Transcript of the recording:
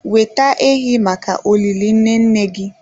Weta ehi maka olili nne nne gị.